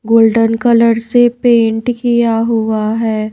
Golden colour से paint किया हुआ है।